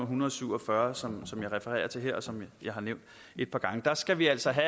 hundrede og syv og fyrre som som jeg refererer til her og som jeg har nævnt et par gange der skal vi altså